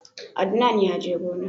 Adnan ya je gona